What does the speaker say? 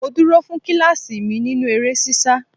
Mo dúró fún kíláàsì mi nínú eré ṣíṣá.